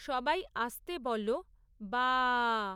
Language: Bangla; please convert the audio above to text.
সবাই আস্তে বলো বা আ আ আ!